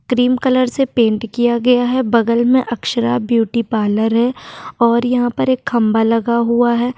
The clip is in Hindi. क्रीम कलर से पेंट किया गया है बगल में अक्षरा ब्यूटी पार्लर है और यहां पर एक खंभा लगा हुआ है।